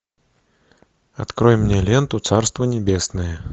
открой мне ленту царство небесное